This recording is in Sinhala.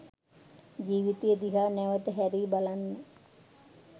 ජීවිතය දිහා නැවත හැරී බලන්න